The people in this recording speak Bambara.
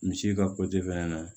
Misi ka fɛnɛ na